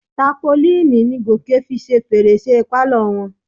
Tápolíìnì ni Gòkè fi ṣe fèrèsé pálọ̀ wọn.